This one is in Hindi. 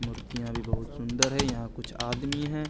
मुर्तिया भी बहुत सुन्दर है यहा कुछ आदमी है।